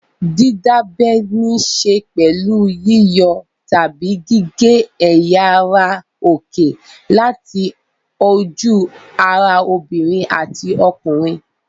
Dídábẹ níṣe pẹ̀lú yíyọ tàbí gígé ẹ̀yà ara òkè láti ojú-ara obìnrin àti ọkùnrin.